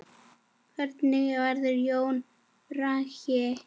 Hvernig verða jólin, Bragi?